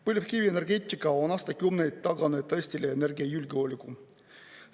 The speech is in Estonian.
Põlevkivienergeetika on aastakümneid taganud Eestile energiajulgeoleku.